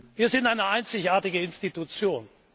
Wir sind eine einzigartige Institution.